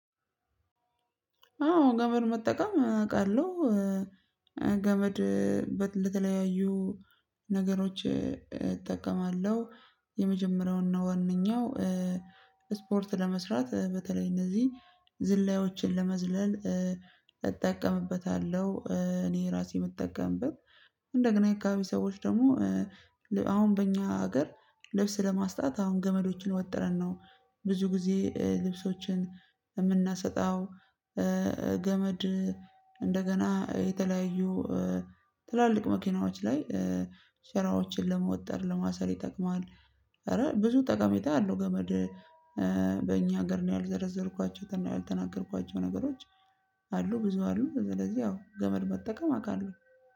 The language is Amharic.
አዎ ገመድ መጠቀም አውቃለሁ። ገመድ እንደተለያዩ ነገሮች እጠቀማለሁ የመጀመሪያው እና ዋነኛው ስፖርት ለመስራት በተለይ እነዚህ ዝላዮችን ለመዝለል እጠቀምበታለሁ። እኔ ራሴ የምጠቀምበት እንደገና የአካባቢ ሰዎች ደግሞ አሁን በእኛ ሀገር ልብስ ለማስጣት አሁን ገመዶችን ወጥረን ነው ብዙ ጊዜ ልብሶችን የምናሰጣው። ገመድ እንደገና የተለያዩ ትላልቅ መኪናዎች ላይ ስራዎችን ለመወጠር ለማሰር ይጠቅማል። ኧረ ብዙ ጠቀሜታ ያለው ገመድ። ሀገር ነው ያልዘረዘርኳቸውና ያልተናገርኳቸው ነገሮች አሉ ብዙ አሉ። ስለዚህ ያው ገመድ መጠቀም አውቃለሁ